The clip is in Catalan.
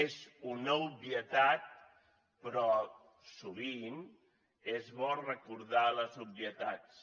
és una obvietat però sovint és bo recordar les obvietats